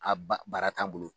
A ba baara t'a bolo.